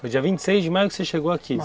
Foi dia vinte e seis de maio que você chegou aqui